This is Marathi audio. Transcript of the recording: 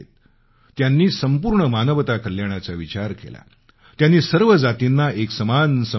त्यांनी संपूर्ण मानवता कल्याणाचा विचार केला त्यांनी सर्व जातींना एकसमान संबोधलं